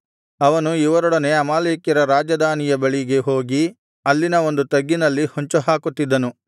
ಅವನು ಇವರೊಡನೆ ಅಮಾಲೇಕ್ಯರ ರಾಜಧಾನಿಯ ಬಳಿಗೆ ಹೋಗಿ ಅಲ್ಲಿನ ಒಂದು ತಗ್ಗಿನಲ್ಲಿ ಹೊಂಚುಹಾಕುತ್ತಿದ್ದನು